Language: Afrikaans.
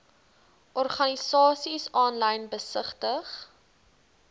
organisasies aanlyn besigtig